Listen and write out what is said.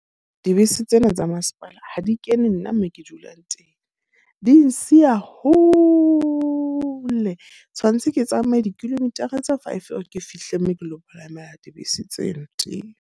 Dibese tsena tsa masepala ha di kene nna mo ke dulang teng. Di nsiya hole, tshwanetse ke tsamaye di-kilometer-a tsa five hore ke fihle moo ke lo palamela dibese tseno teng.